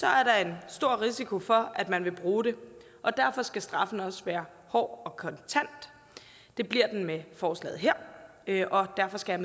er der en stor risiko for at man vil bruge det og derfor skal straffen også være hård og kontant det bliver den med forslaget her her og derfor skal